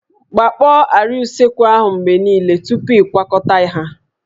Gbakpọọ àrịá usekwu ahụ mgbe niile tupu ịkwakọta ha